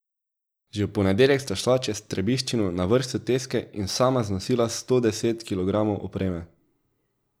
Že v ponedeljek sta šla čez Trebiščino na vrh soteske in sama znosila sto deset kilogramov opreme.